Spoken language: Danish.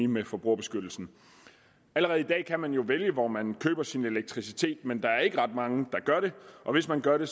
med forbrugerbeskyttelsen allerede i dag kan man jo vælge hvor man køber sin elektricitet men der er ikke ret mange der gør det og hvis man gør det